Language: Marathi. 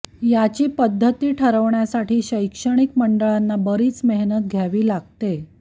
याची पद्धती ठरवण्यासाठी शैक्षणिक मंडळांना बरीच मेहनत घ्यावी लागतेय